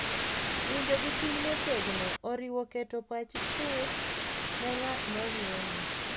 Winjo gi chuny motegno oriwo keto pach chuth ne ng’at ma wuoyo,